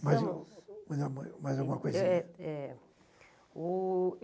Mais mais mais alguma coisinha? É é é o...